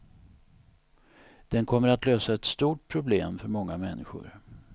Den kommer att lösa ett stort problem för många människor.